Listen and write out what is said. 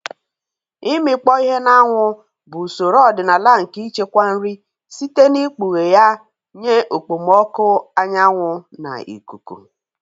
Ịmikpọ ihe na anwụ bụ usoro ọdịnala nke ichekwa nri site n'ikpughe ya nye okpomọkụ anyanwu na ikuku.